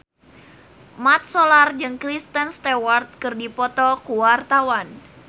Mat Solar jeung Kristen Stewart keur dipoto ku wartawan